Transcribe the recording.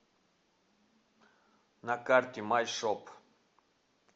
на карте май шоп